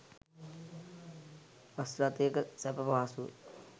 bus රථයක සැප පහසුව